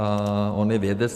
A on je vědec.